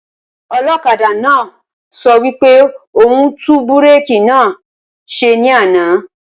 Olókadà náà sọ wípé òhún tún búrèkì náà ṣẹ ní àná